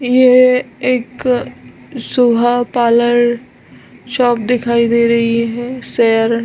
ये एक सोहा पार्लर शॉप दिखाई दे रही है शेयर --